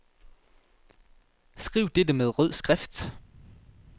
Skriv dette med rød skrift.